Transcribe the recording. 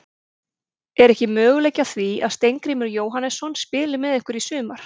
Er ekki möguleiki á því að Steingrímur Jóhannesson spili með ykkur í sumar?